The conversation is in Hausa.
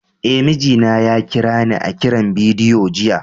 Eh, mijina ya kira ni a kiran bidiyo jiya.